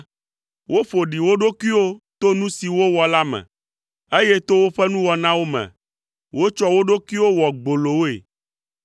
Woƒo ɖi wo ɖokuiwo to nu si wowɔ la me, eye to woƒe nuwɔnawo me, wotsɔ wo ɖokuiwo wɔ gbolowoe,